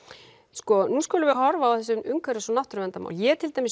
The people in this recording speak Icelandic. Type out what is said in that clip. sko nú skulum við horfa á þessi umhverfis og náttúruverndarmál ég er til dæmis